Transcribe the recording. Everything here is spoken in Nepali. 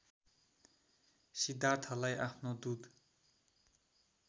सिद्धार्थलाई आफ्नो दुध